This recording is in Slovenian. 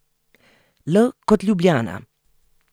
L kot Ljubljana.